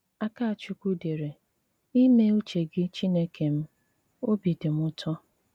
Akàchúkwú dére: " Ímé ùché gị Chínèkè m, òbí dì m ùtò.